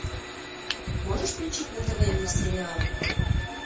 можешь включить на тв мир сериала